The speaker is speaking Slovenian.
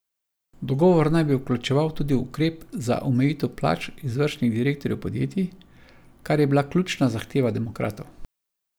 Dogovor naj bi vključeval tudi ukrep za omejitev plač izvršnih direktorjev podjetij, kar je bila ključna zahteva demokratov.